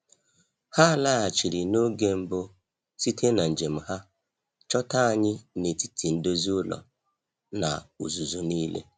Ha laghachiri n’oge mbụ site na njem ha, chọta anyị n’etiti ndozi ụlọ na uzuzu niile.